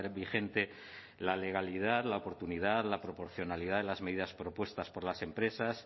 vigente la legalidad la oportunidad la proporcionalidad de las medidas propuestas por las empresas